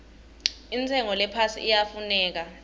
intshengo lephasi iyafuneka